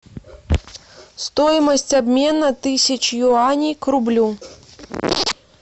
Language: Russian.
стоимость обмена тысячи юаней к рублю